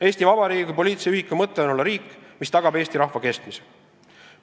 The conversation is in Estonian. Eesti Vabariigi kui poliitilise ühiku mõte on olla riik, mis tagab eesti rahva kestmise.